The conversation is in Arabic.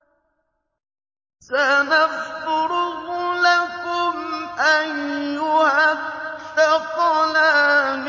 سَنَفْرُغُ لَكُمْ أَيُّهَ الثَّقَلَانِ